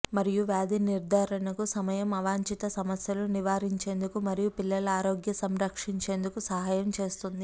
మరియు వ్యాధి నిర్ధారణకు సమయం అవాంఛిత సమస్యలు నివారించేందుకు మరియు పిల్లల ఆరోగ్య సంరక్షించేందుకు సహాయం చేస్తుంది